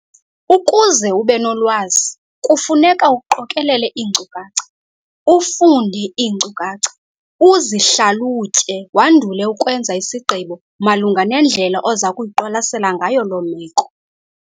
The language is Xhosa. Ukuze ube nolwazi kufuneka uqokelele iinkcukacha, ufunde iinkcukacha, uzihlalutye wandule ukwenza isigqibo malunga nendlela oza kuyiqwalasela ngayo loo meko.